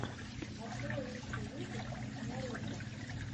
открой лучший выпуск няруко